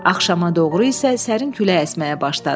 Axşama doğru isə sərin külək əsməyə başladı.